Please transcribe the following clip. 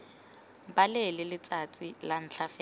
balele letsatsi la ntlha fela